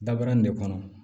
Dabarani de kɔnɔ